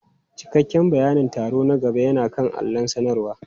Cikakken bayanin taro na gaba yana kan allon sanarwa.